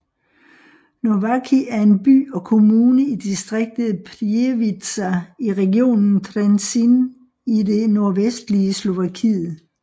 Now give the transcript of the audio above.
Nováky er en by og kommune i distriktet Prievidza i regionen Trenčín i det nordvestlige Slovakiet